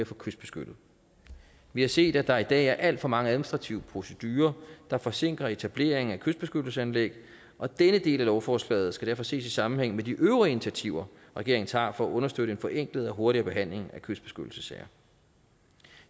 få kystbeskyttet vi har set at der i dag er alt for mange administrative procedurer der forsinker etablering af kystbeskyttelsesanlæg og denne del af lovforslaget skal derfor ses i sammenhæng med de øvrige initiativer regeringen tager for at understøtte en forenklet og hurtigere behandling af kystbeskyttelsessager